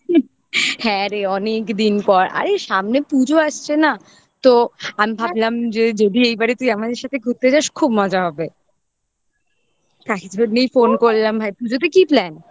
হ্যাঁ রে অনেকদিন পর আরে সামনে পুজো আসছে না তো আমি ভাবলাম যে যদি যদি এইবারে তুই আমাদের সাথে ঘুরতে যাস খুব মজা হবে phone করলাম ভাই পুজোতে কি plan